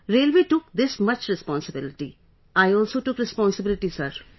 Railway took this much responsibility, I also took responsibility, sir